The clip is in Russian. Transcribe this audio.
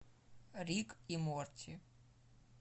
рик и морти